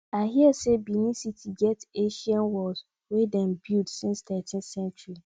i hear sey benincity get ancient walls wey dem build since 13th century